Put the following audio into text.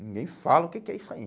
Ninguém fala o que que é isso aí.